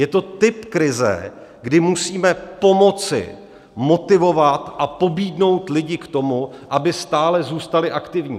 Je to typ krize, kdy musíme pomoci motivovat a pobídnout lidi k tomu, aby stále zůstali aktivní.